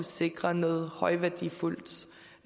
sikre noget højværdiskov